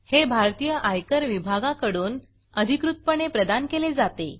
हे भारतीय आयकर विभागाकडून अधिकृतपणे प्रदान केले जाते